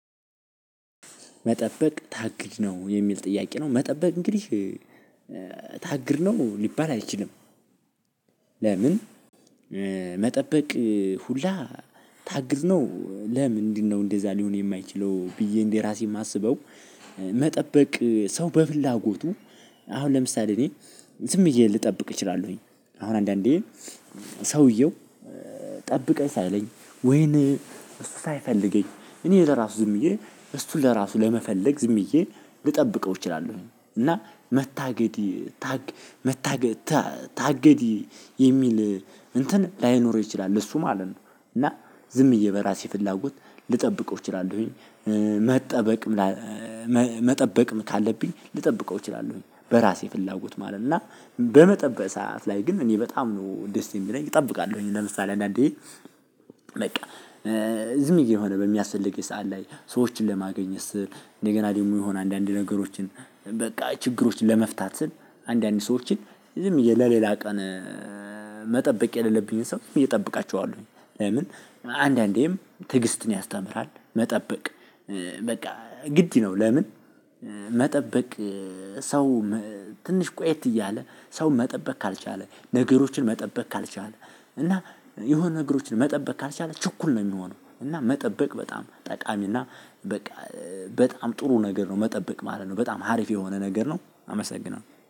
መጠበቅ ታግድ ነው? የሚል ጥያቄ ነው መጠበቅ እንግዲህ ታግድ ነው ሊባል አይችልም። ለምን መጠበቅ ሁላ ታግድ ነው ለምንድነው እንደዛ ሊሆን የማይችለው ብዬ እንደራሴ የማስበው መጠበቅ ሰው በፍላጎቱ አሁን ለምሳሌ እኔ ዝም ብዬ ልጠብቅ እችላለሁኝ። አሁን አንዳንዴ ሰውየው ጠብቀኝ ሳይለኝ ወይን እሱ ሳይፈልገኝ እኔ ለራሱ ዝምዬ እሱን ለራሱ ለመፈለግ ዝም ብዬ ልጠብቀው እችላለሁኝ። እና መታገድ መታገድ ታገድ የሚል እንትን ላይኖርው ይችላል እሱ ማለት ነው። እና ዝም ብዬ በራሴ ፍላጎት ልጠብቀው እችላለሁኝ። መጠበቅ መጠበቅም ካለብኝ ልጠብቀው እችላለሁኝ። በራሴ ፍላጎት ማለት እና በመጠበቅ ሰዓት ላይ ግን እኔ በጣም ነው ደስ የሚለኝ እጠብቃለሁኝ። ለምሳሌ አንዳንዴ በቃ ዝምብዬ የሆነ በሚያስፈልግኝ ሰዓት ላይ ሰዎችን ለማግኘት ስል፤ እንደገና ደግሞ የሆነ አንዳንድ ነገሮችን በቃ ችግሮችን ለመፍታት ስል አንዳንድ ሰዎችን ዝም ብዬ ለሌላ ቀን መጠበቅ የሌለብኝን ሰው እየጠበቃቸዋለውኝ ለምን አንዳንዴም ትዕግስትን ያስተምራል መጠበቅ በቃ ግድ ነው። ለምን መጠበቅ ሰው ትንሽ ቆዬት እያለ ሰው መጠበቅ ካልቻለ፤ ነገሮችን መጠበቅ ካልቻለ እና የሆነ ነገሮችን መጠበቅ ካልቻለ ችኩል ነው የሚሆነው እና መጠበቅ በጣም ጠቃሚ እና በቃ በጣም ጥሩ ነገር ነው መጠበቅ ማለት ነው። በጣም ሀሪፍ የሆነ ነገር ነው። አመሰግናለው።